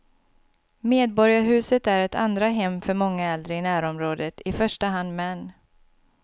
Medborgarhuset är ett andra hem för många äldre i närområdet, i första hand män.